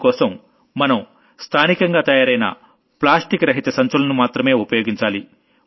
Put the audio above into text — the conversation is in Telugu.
అందుకోసం మనం స్థానికంగా తయారైన నాన్ప్లాస్టిక్ బ్యాగుల్ని మాత్రమే ఉపయోగించాలి